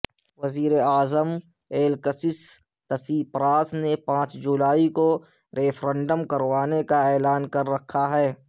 وزیراعظم Alexis Tsipras نے پانچ جولائی کو ریفرنڈم کروانے کا اعلان کر رکھا ہے